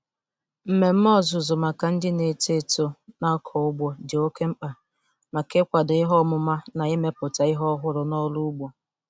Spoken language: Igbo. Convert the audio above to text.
Mmemme ọzụzụ maka ndị na-eto eto na-akọ ugbo dị oke mkpa maka ịkwado ihe ọmụma na imepụta ihe ọhụrụ n'ọrụ ugbo.